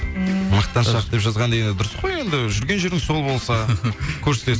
м мақтаншақ деп жазған енді дұрыс қой енді жүрген жеріңіз сол болса көрсетесіз